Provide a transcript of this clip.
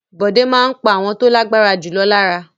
Bọ̀dé máa ń pa àwọn tó lágbára jù lọ lára.